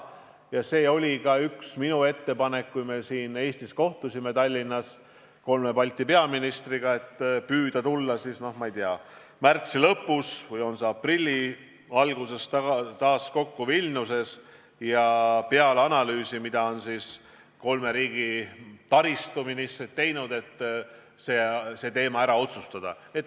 Ja see oli ka üks minu ettepanek, kui me siin Tallinnas kolme Balti peaministriga kohtusime, et püüda tulla, ma ei tea, märtsi lõpus või aprilli alguses Vilniuses taas kokku ja peale analüüsi, mille kolme riigi taristuministrid on teinud, see teema ära otsustada.